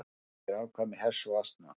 Hvað heitir afkvæmi hests og asna?